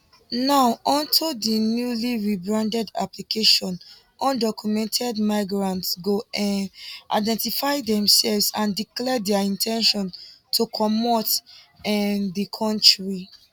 now on to di newly rebranded application undocumented migrants go um identify themselves and declare dia in ten tion to comot um di kontri